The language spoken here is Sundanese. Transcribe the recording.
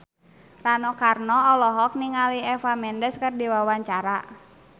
Rano Karno olohok ningali Eva Mendes keur diwawancara